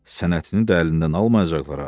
Sənətini də əlindən almayacaqlar ha.